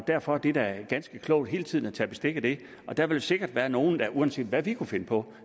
derfor er det da ganske klogt hele tiden at tage bestik af det der vil sikkert være nogle der uanset hvad vi kunne finde på